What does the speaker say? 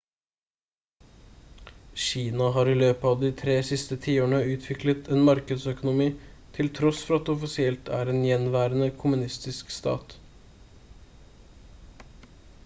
kina har i løpet av de tre siste tiårene utviklet en markedsøkonomi til tross for at det offisielt er en gjenværende kommunistisk stat